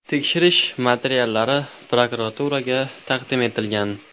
Tekshirish materiallari prokuraturaga taqdim etilgan.